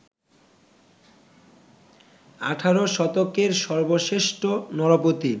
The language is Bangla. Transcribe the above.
আঠারো শতকের সর্বশ্রেষ্ঠ নরপতি